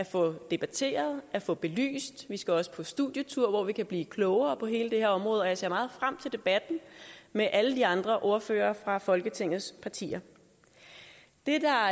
få debatteret at få belyst vi skal også på studietur hvor vi kan blive klogere på hele det her område og jeg ser meget frem til debatten med alle de andre ordførere fra folketingets partier det der